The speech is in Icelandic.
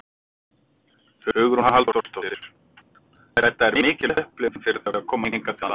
Hugrún Halldórsdóttir: Þetta er mikil upplifun fyrir þau að koma hingað til lands?